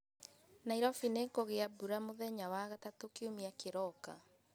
Nairobi nĩ kũgia mbura mũthenya wa gatatũ kiumia kĩroka